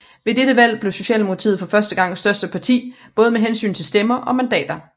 Ved dette valg blev Socialdemokratiet for første gang største parti både med hensyn til stemmer og mandater